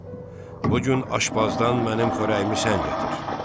Oğul, bu gün aşbazdan mənim xörəyimi sən gətir.